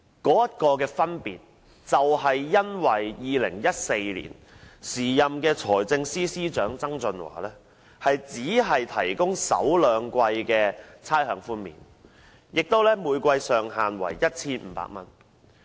當中的分別，在於2014年時任財政司司長曾俊華只提供首兩季差餉寬免，每季上限為 1,500 元。